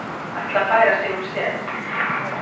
Ætla að færa sig um set